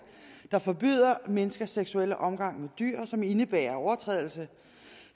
der forbyder menneskers seksuelle omgang med dyr og som indebærer at overtrædelse